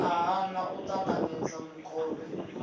a hana u ṱanganedza mukovhe